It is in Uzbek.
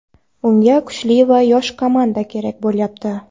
Unga kuchli va yosh komanda kerak bo‘lyapti.